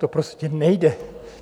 To prostě nejde.